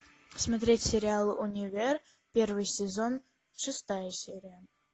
смотреть сериал универ первый сезон шестая серия